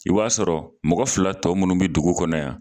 I b'a sɔrɔ mɔgɔ fila tɔ minnu bɛ dugu kɔnɔ yan